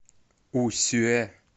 усюэ